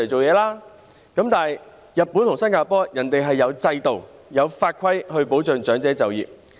可是，日本和新加坡有制度、有法規保障長者就業。